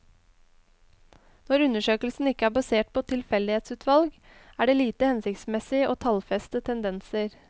Når undersøkelsen ikke er basert på tilfeldighetsutvalg, er det lite hensiktsmessig å tallfeste tendenser.